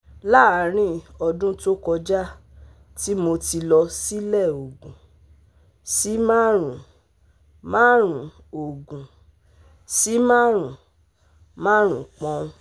Laarin odun to koja ti mo ti lọ silẹ ogun si marun-marun ogun si marun-marun poun